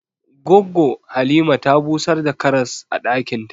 Goggo Halima ta busar da karas a ɗakin ta.